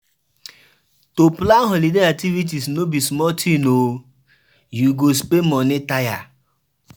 To plan holiday activities no be small tin o, you go spend moni tire.